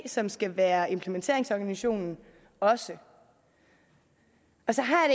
som skal være implementeringsorganisationen også og så har